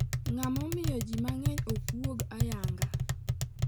Ang' ma omiyo ji mang'eny ok wuog ayanga?